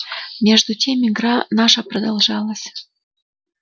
между тем игра наша продолжалась